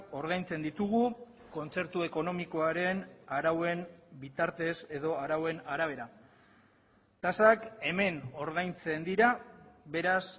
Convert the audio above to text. ordaintzen ditugu kontzertu ekonomikoaren arauen bitartez edo arauen arabera tasak hemen ordaintzen dira beraz